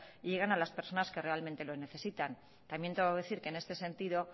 y lleguen a las personas que realmente lo necesitan también tengo que decir que en este sentido